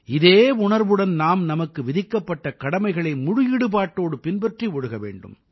இதே உணர்வுடன் நாம் நமக்கு விதிக்கப்பட்ட கடமைகளை முழு ஈடுபட்டோடு பின்பற்றி ஒழுக வேண்டும்